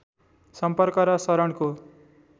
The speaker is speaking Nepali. सम्पर्क र शरणको